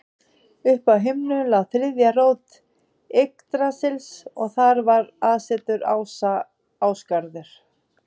Uppi á himnum lá þriðja rót Yggdrasils og þar var aðsetur ása, Ásgarður.